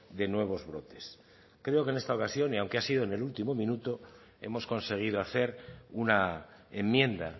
de nuevos brotes creo que en esta oración y aunque ha sido en el último minuto hemos conseguido hacer una enmienda